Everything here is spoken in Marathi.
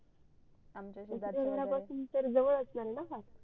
आमच्या शेजारचे